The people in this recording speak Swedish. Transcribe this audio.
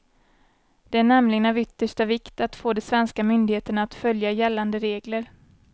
Det är nämligen av yttersta vikt att få de svenska myndigheterna att följa gällande regler.